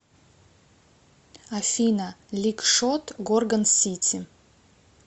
афина лик шот горгон сити